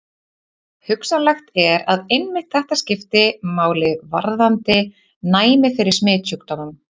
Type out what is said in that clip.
Hugsanlegt er, að einmitt þetta skipti máli varðandi næmi fyrir smitsjúkdómum.